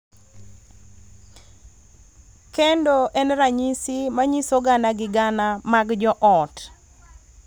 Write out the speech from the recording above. kendo en ranyisi ma nyiso gana gi gana mag joot